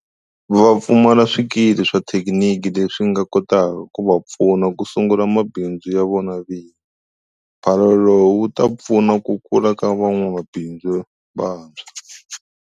Va pfumala swikili swa xithekiniki leswi swi nga kotaka ku va pfuna ku sungula mabindzu ya vona vinyi. Mphalalo lowu wu ta pfuna ku kula ka van'wamabindzu vantshwa.